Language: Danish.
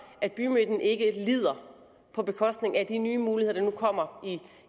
at bymidten ikke lider på bekostning af de nye muligheder der nu kommer